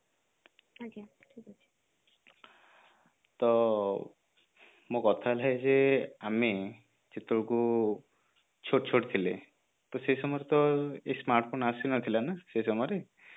ତ ମୋ କଥା ଯେ ଆମେ ଯେତେବେଳକୁ ଛୋଟ ଛୋଟ ଥିଲେ ତ ସେଇ ସମୟରେ ତ ଏଇ smartphone ଆସି ନଥିଲା ନା ସେଇ ସମୟରେ